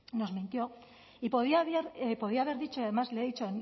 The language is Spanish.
nos mintió y podía haber dicho y además le he dicho